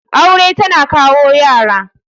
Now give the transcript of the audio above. Aure tana kawo Yara.